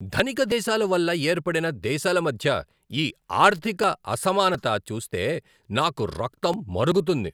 ధనిక దేశాల వల్ల ఏర్పడిన దేశాల మధ్య ఈ ఆర్థిక అసమానత చూస్తే నాకు రక్తం మరుగుతుంది.